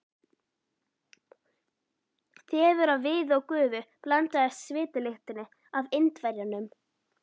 Þefur af viði og gufu blandaðist svitalyktinni af Indverjanum.